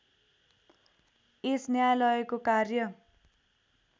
यस न्यायालयको कार्य